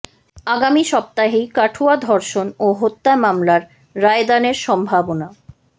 আগামী সপ্তাহেই কাঠুয়া ধর্ষণ ও হত্যা মামলার রায়দানের সম্ভাবনা